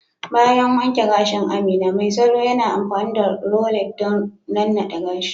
Bayan wanke gashin Amina, mai salo yana amfani da rollers don nannade gashin